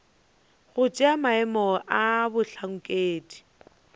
go tšea maemo a bohlankedi